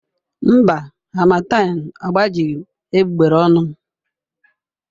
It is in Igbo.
Mba, harmattan agbajighị egbugbere ọnụ m.